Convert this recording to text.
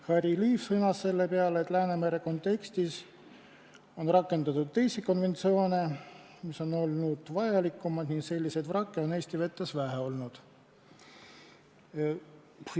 Harry Liiv sõnas selle peale, et Läänemere kontekstis on rakendatud teisi konventsioone, mis on olnud vajalikumad, ning selliseid vrakke on Eesti vetes vähe olnud.